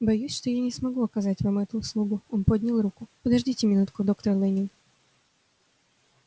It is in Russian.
боюсь что я не смогу оказать вам эту услугу он поднял руку подождите минутку доктор лэннин